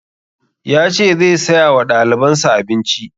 Ya ce zai saya wa ɗaliban sa abinci